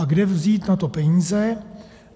A kde vzít na to peníze?